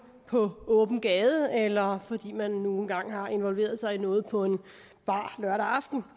på åben gade eller fordi man nu engang har involveret sig i noget på en bar lørdag aften